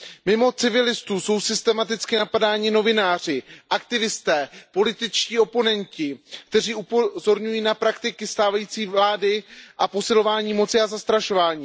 Mimo civilistů jsou systematicky napadáni novináři, aktivisté, političtí oponenti, kteří upozorňují na praktiky stávající vlády a posilování moci a zastrašování.